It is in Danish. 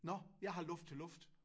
Nåh! Jeg har luft til luft